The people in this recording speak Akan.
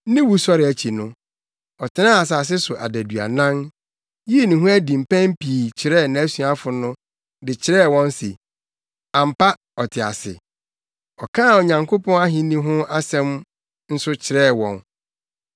Ne wusɔre akyi no, ɔtenaa asase so adaduanan, yii ne ho adi mpɛn pii kyerɛɛ nʼasuafo no de kyerɛɛ wɔn se, ampa, ɔte ase. Ɔkaa Onyankopɔn ahenni ho asɛm nso kyerɛɛ wɔn.